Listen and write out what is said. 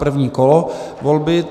První kolo volby.